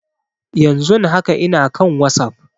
Yan zun haka ina kan wasap